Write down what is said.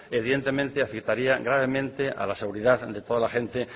evidentemente afectaría gravemente a la seguridad de toda la gente